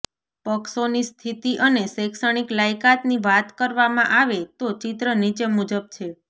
પક્ષોની સ્થિતિ અને શૈક્ષણિક લાયકાતની વાત કરવામાં આવે તો ચિત્ર નીચે મુજબ છે